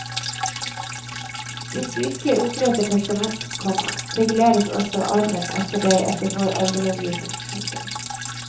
Hvis du ikke oppretter testament, komma reguleres altså arven etter deg etter vår arvelovgivning. punktum